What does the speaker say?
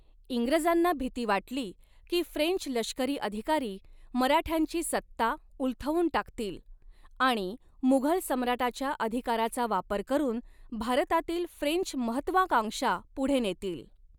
इंग्रजांना भीती वाटली की फ्रेंच लष्करी अधिकारी मराठ्यांची सत्ता उलथवून टाकतील आणि मुघल सम्राटाच्या अधिकाराचा वापर करून भारतातील फ्रेंच महत्त्वाकांक्षा पुढे नेतील.